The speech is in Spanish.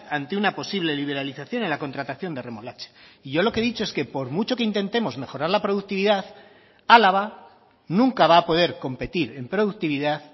ante una posible liberalización en la contratación de remolacha y yo lo que he dicho es que por mucho que intentemos mejorar la productividad álava nunca va a poder competir en productividad